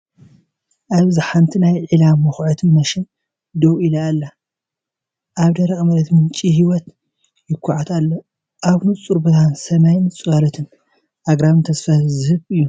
ኣብዚ ሓንቲ ናይ ዒላ ምዅዓት ማሽን ደው ኢላ ኣላ። ኣብ ደረቕ መሬት ምንጪ ህይወት ይኹዓት ኣሎ፤ ኣብ ንጹር ብርሃን ሰማይን ጽላሎት ኣግራብን ተስፋ ዝህብ እዩ።